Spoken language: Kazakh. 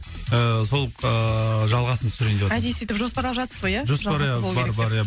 ііі сол ііі жалғасын түсірейін деватырмын әдейі солай жоспарлап жатырсыз ғой иә жоспар иә бар бар иә